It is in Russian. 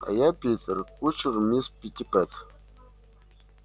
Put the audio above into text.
а я питер кучер мисс питтипэт